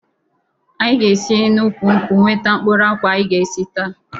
Anyị ga esi n'úkwù nkwụ nweta mkpụrụ akwụ anyị ga esi taa